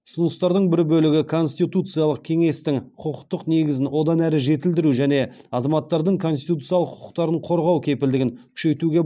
ұсыныстардың бір бөлігі конституциялық кеңестің құқықтық негізін одан әрі жетілдіру және азаматтардың конституциялық құқықтарын қорғау кепілдігін күшейтуге